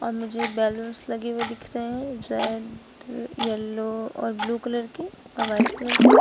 मुझे बलूंस लगे हुए दिख रहे हैं रेड येलो और ब्लू कलर के और वाइट कलर के।